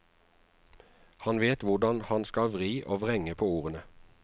Han vet hvordan han skal vri og vrenge på ordene.